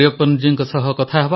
ପନ୍ ମରିୟପ୍ପନ୍ ତାମିଲରେ ଉତ୍ତର